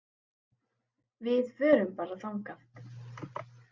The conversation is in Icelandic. Við förum bara þangað!